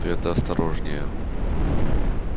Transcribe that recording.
ты это осторожнее